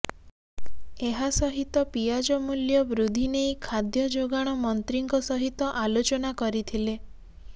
ଏହା ସହିତ ପିଆଜ ମୂଲ୍ୟ ବୃଦ୍ଧି ନେଇ ଖାଦ୍ୟ ଯୋଗାଣ ମନ୍ତ୍ରୀଙ୍କ ସହିତ ଆଲୋଚନା କରିଥିଲେ